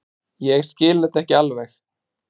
Ég skil þetta ekki alveg.